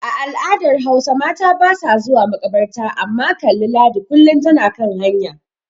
A al'adar Hausa mata basa zuwa makabarta amma kalli Ladi kullin tana kan hanya.